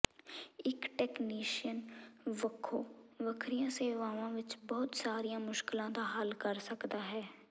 ਇਕ ਟੈਕਨੀਸ਼ੀਅਨ ਵੱਖੋ ਵੱਖਰੀਆਂ ਸੇਵਾਵਾਂ ਵਿਚ ਬਹੁਤ ਸਾਰੀਆਂ ਮੁਸ਼ਕਲਾਂ ਦਾ ਹੱਲ ਕਰ ਸਕਦਾ ਹੈ